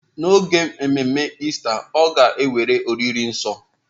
N'oge ememe Ista, ọ ga-ewere oriri nsọ.